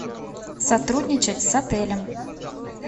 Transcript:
сотрудничать с отелем